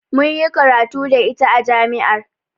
Mun yi karatu da iya a jami'ar.